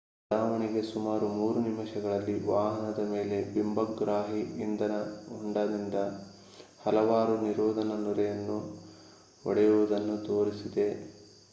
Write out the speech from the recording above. ಉಡಾವಣೆಗೆ ಸುಮಾರು 3 ನಿಮಿಷಗಳಲ್ಲಿ ವಾಹನದ ಮೇಲೆ ಬಿಂಬಗ್ರಾಹಿ ಇಂಧನ ಹೊಂಡದಿಂದ ಹಲವಾರು ನಿರೋಧನ ನೊರೆ ಒಡೆಯುವುದನ್ನು ತೋರಿಸಿದೆ